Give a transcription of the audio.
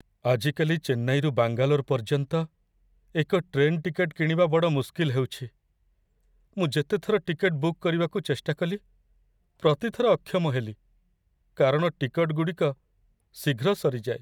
ଆଜିକାଲି ଚେନ୍ନାଇରୁ ବାଙ୍ଗାଲୋର ପର୍ଯ୍ୟନ୍ତ ଏକ ଟ୍ରେନ୍ ଟିକେଟ୍‌ କିଣିବା ବଡ଼ ମୁସ୍କିଲ୍ ହେଉଛି। ମୁଁ ଯେତେଥର ଟିକେଟ୍‌ ବୁକ୍ କରିବାକୁ ଚେଷ୍ଟାକଲି ପ୍ରତିଥର ଅକ୍ଷମ ହେଲି, କାରଣ ଟିକଟଗୁଡ଼ିକ ଶୀଘ୍ର ସରିଯାଏ।